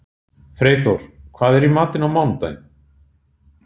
Freyþór, hvað er í matinn á mánudaginn?